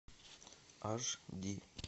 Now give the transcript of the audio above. аш ди